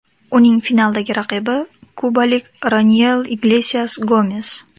Uning finaldagi raqibi kubalik Roniel Iglesias Gomes.